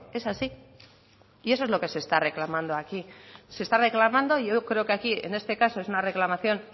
es así y eso es lo que se está reclamando aquí se está reclamando y hoy creo que aquí en este caso es una reclamación